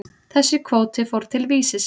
Þessi kvóti fór til Vísis.